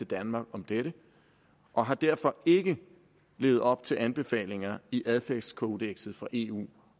danmark om dette og har derfor ikke levet op til anbefalingerne i adfærdskodekset fra eu